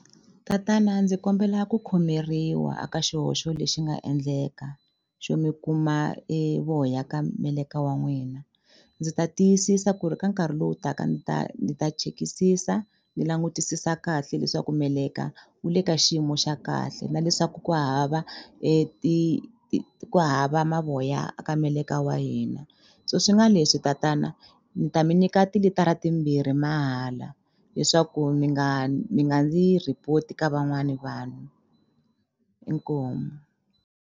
Tatana ndzi kombela ku khomeriwa a ka xihoxo lexi nga endleka xo mi kuma e voya ka meleka wa n'wina ndzi ta tiyisisa ku ri ka nkarhi lowu taka ni ta ni ta chekisisa ni langutisisa kahle leswaku meleka wu le ka xiyimo xa kahle na leswaku ku hava ku hava mavoya a ka meleka wa hina so swi nga leswi tatana ni ta mi nyika tilitara timbirhi mahala leswaku mi nga mi nga ndzi report ka van'wani vanhu inkomu.